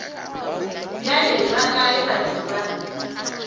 bjale ba kae batho ba